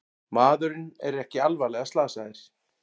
Maðurinn er ekki alvarlega slasaðir